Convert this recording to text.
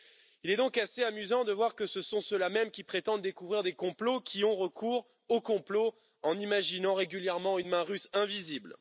Il est donc assez amusant de voir que ce sont ceux qui prétendent découvrir des complots qui ont recours au complot en imaginant régulièrement une main russe invisible.